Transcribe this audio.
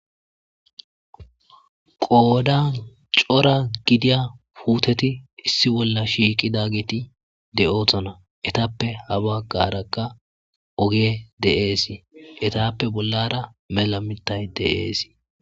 Qodan cora gidiza puteti issi bolla shiqidageti de'osona erappe ha bagaraka ogey de'es etappe bollara mela mittay de'es